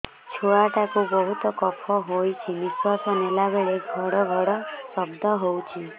ଛୁଆ ଟା କୁ ବହୁତ କଫ ହୋଇଛି ନିଶ୍ୱାସ ନେଲା ବେଳେ ଘଡ ଘଡ ଶବ୍ଦ ହଉଛି